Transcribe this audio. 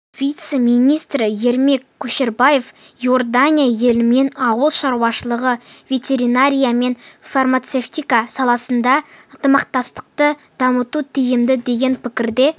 вице-министрі ермек көшербаев иордания елімен ауыл шаруашылығы ветеринария мен фармацевтика саласында ынтымақтастықты дамыту тиімді деген пікірде